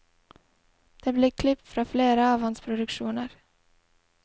Det blir klipp fra flere av hans produksjoner.